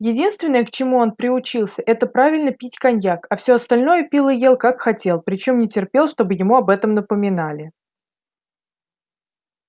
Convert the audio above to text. единственное к чему он приучился это правильно пить коньяк а все остальное пил и ел как хотел причём не терпел чтобы ему об этом напоминали